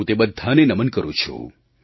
હું તે બધાને નમન કરું છું